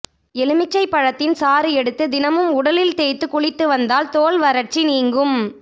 எலுமிச்சை பழத்தின் சாறு எடுத்து தினமும் உடலில் தேய்த்து குளித்து வந்தால் தோல் வறட்சி நீங்கும்